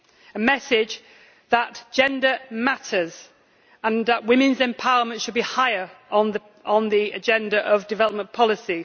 a message that gender matters and women's empowerment should be higher on the agenda of development policy.